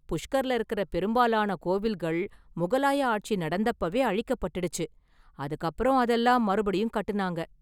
புஷ்கர்ல இருக்கற பெரும்பாலான கோவில்கள் முகலாய ஆட்சி நடந்தப்பவே அழிக்கப்பட்டுடுச்சு, அதுக்கு அப்பறம் அதெல்லாம் மறுபடியும் கட்டுனாங்க.